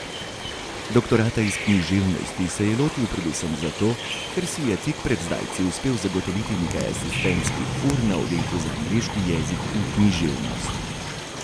Doktorata iz književnosti se je lotil predvsem zato, ker si je tik pred zdajci uspel zagotoviti nekaj asistentskih ur na Oddelku za angleški jezik in književnost.